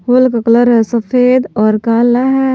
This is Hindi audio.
हाॅल का कलर है सफेद और काला है।